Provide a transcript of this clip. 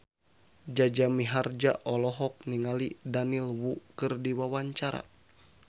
Jaja Mihardja olohok ningali Daniel Wu keur diwawancara